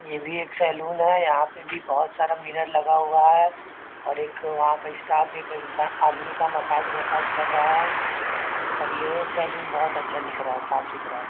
ये भी एक सलून है यहाँ पे भी बहोत सारा मिरर लगा हुआ है और एक वहाँ का स्टाफ एक इंसान आदमी का मसाज - वसाज कर रहा है और ये सलून बहोत अच्छा दिख रहा है साफ़-सुथरा --